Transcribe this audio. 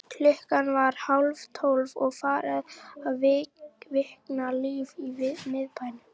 Klukkan var hálftólf og farið að kvikna líf í miðbænum.